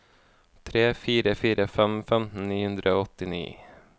tre fire fire fem femten ni hundre og åttini